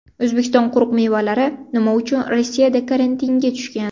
O‘zbekiston quruq mevalari nima uchun Rossiyada karantinga tushgan?.